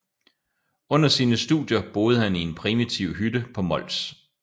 Under sine studier boede han i en primitiv hytte på Mols